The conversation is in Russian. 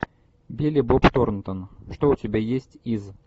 билли боб торнтон что у тебя есть из